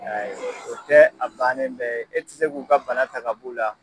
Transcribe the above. o tɛ a bannen bɛɛ ye e tɛ se k'u ka bana ta ka b'u la.